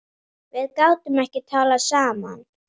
Við gátum ekki talað saman.